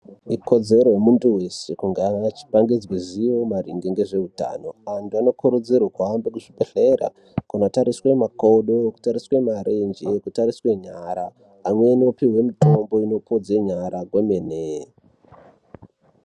Ikodzero yemuntu weshe achipangidzwe zivo maringe antu anokurudzirwa kuuya kuzvibhedhlera kunotariswa makodo nekutariswa marenje nekutariswa nyara unokodzerwa azive.